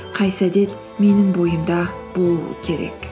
қайсы әдет менің бойымда болу керек